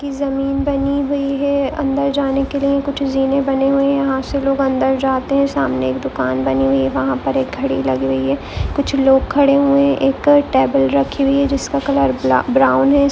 जमीन बनी हुई है अंदर जाने के लीये कुछ जीने बनी हुई है यहाँ से लोग अंदर जाते है सामने एक दूकान बनी हुई है वहा पर एक गाड़ी लगी हुई है कुछ लोग खड़े हुए है एक टेबल रखी हुई है जिसका कलर ब्राउन है।